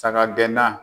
Saga gɛnna